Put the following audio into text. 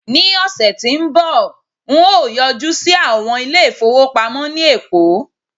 ni ọsẹ ti nbọ n o yọjú sí àwọn ilé ifowopamọ ni eko